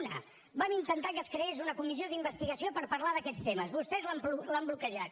una vam intentar que es creés una comissió d’investigació per parlar d’aquests temes vostès l’han bloquejat